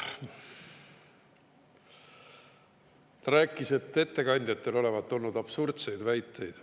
Ta rääkis, et ettekandjatel olevat olnud absurdseid väiteid.